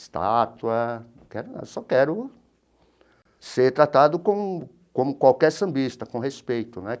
Estátua não quero nada... Eu só quero ser tratado como como qualquer sambista, com respeito, né?